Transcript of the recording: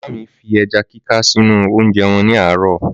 Màmá mi fi ẹja kíká sínú oúnjẹ wọn ní àárò.